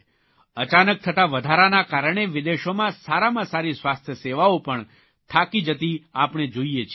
અચાનક થતા વધારાના કારણે વિદેશોમાં સારામાં સારી સ્વાસ્થ્ય સેવાઓ પણ થાકી જતી આપણે જોઇએ છીએ